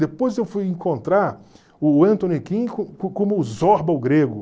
Depois eu fui encontrar o Anthony Quinn como o Zorba, o Grego.